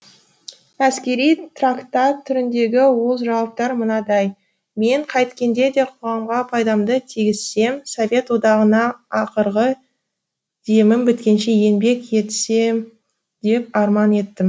әскери трактат түріндегі ол жауаптар мынадай мен қайткенде де қоғамға пайдамды тигізсем совет одағына ақырғы демім біткенше еңбек етсем деп арман еттім